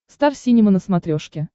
стар синема на смотрешке